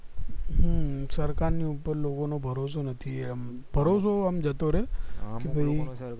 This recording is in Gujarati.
હમ સરકાર ની ઉપર થી લોકો નો ભરોસો નથી એમ ભરોસો આમ જતો રે કે ભય